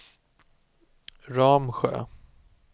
Ramsjö